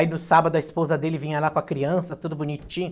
Aí no sábado a esposa dele vinha lá com a criança, tudo bonitinho.